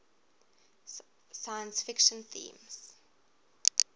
science fiction themes